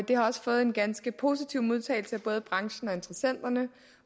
det har fået en ganske positiv modtagelse af både branchen